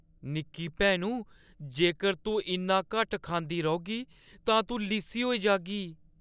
निक्की भैनु, जेकर तूं इन्ना घट्ट खंदी रौह्‌गी तां तूं लिस्सी होई जाह्‌गी।